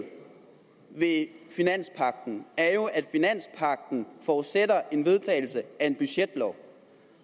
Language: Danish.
ved finanspagten er jo at den forudsætter en vedtagelse af en budgetlov